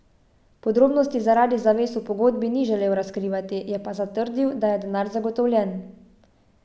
Podrobnosti zaradi zavez v pogodbi ni želel razkrivati, je pa zatrdil, da je denar zagotovljen.